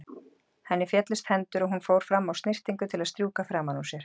Henni féllust hendur og hún fór fram á snyrtingu til að strjúka framan úr sér.